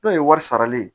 N'o ye wari sarali ye